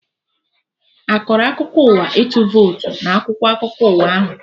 Akọrọ akụkọ ụwa ịtụ votu na akwụkwọ akụkọ ụwa ahụ?